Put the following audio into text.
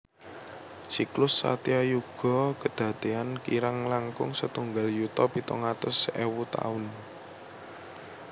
Siklus Satyayuga kadadean kirang langkung setunggal yuta pitung atus ewu taun